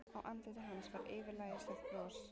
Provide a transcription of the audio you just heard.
Á andliti hans var yfirlætislegt bros.